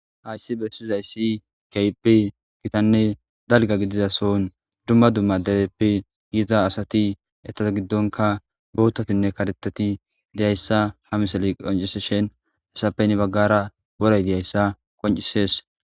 Hayssi bessizayssi kehippe gitanne dalgga gidiza soon dumma dumma dereppe yiza asati etat giddonka boutatinne karetati deyayssa ha miley qonciseshen hasappe heni baggara woray de'zaayssa qoncisees